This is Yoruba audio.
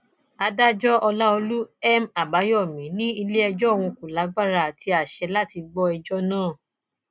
adájọ ọlàọlù m àbáyọmí ní iléẹjọ òun kò lágbára àti àsè láti gbọ ẹjọ náà